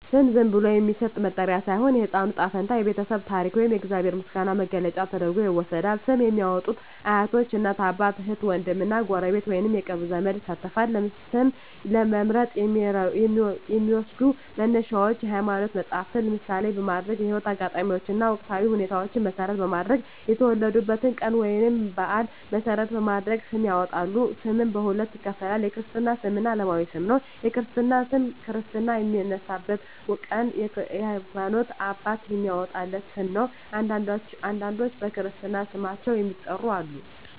ስም ዝም ብሎ የሚሰጥ መጠሪያ ሳይሆን፣ የሕፃኑ ዕጣ ፈንታ፣ የቤተሰቡ ታሪክ ወይም የእግዚአብሔር ምስጋና መግለጫ ተደርጎ ይወሰዳል። ስም ለሚያዎጡት አያቶች፣ እናት አባት፣ እህት ዎንድም እና ጎረቤት ወይንም የቅርብ ዘመድ ይሳተፋል። ስም ለመምረጥ የሚዎሰዱ መነሻዎች የሀይማኖት መፀሀፍትን ምሳሌ በማድረግ፣ የህይወት አጋጣሚዎችን እና ወቅታዊ ሁኔታዎችን መሰረት በማድረግ፣ የወለዱበትን ቀን ወይንም በአል መሰረት በማድረግ ስም ያወጣሉ። ስምንም በሁለት ይከፈላል። የክርስትና ስም እና አለማዊ ስም ነው። የክርስትና ስም ክርስትና በሚነሳበት ቀን የሀይማኖት አባት የሚያዎጣለት ስም ነው። አንዳንዶች በክርስትና ስማቸው የሚጠሩም አሉ።